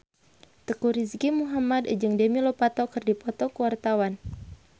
Teuku Rizky Muhammad jeung Demi Lovato keur dipoto ku wartawan